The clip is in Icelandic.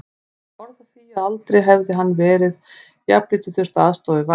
Hann hafði orð á því að aldrei hefði hann jafnlítið þurft að aðstoða við valið.